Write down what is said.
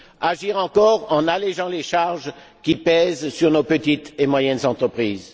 Agir encore en allégeant les charges qui pèsent sur nos petites et moyennes entreprises.